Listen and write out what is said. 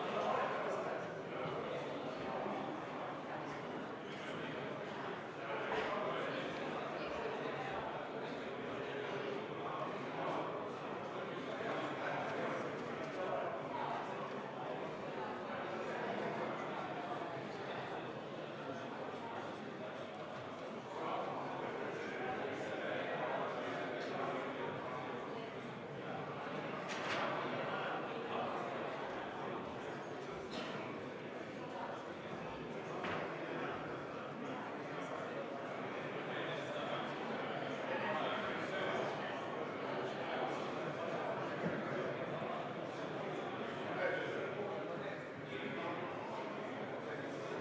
V a h e a e g